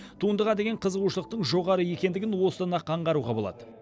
туындыға деген қызығушылықтың жоғары екендігін осыдан ақ аңғаруға болады